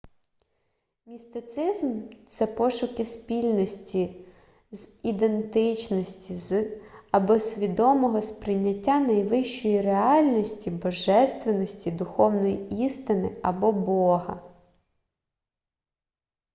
містицизм це пошуки спільності з ідентичності з або свідомого сприйняття найвищої реальності божественності духовної істини або бога